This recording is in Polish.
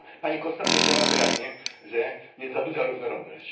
Zresztą pani Costa powiedziała wyraźnie, że w Europie jest za duża różnorodność.